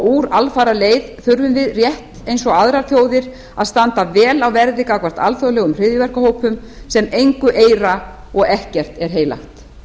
úr alfaraleið þurfum við rétt eins og aðrar þjóðir að standa vel á verði gagnvart alþjóðlegum hryðjuverkahópum sem engu eira og ekkert er heilagt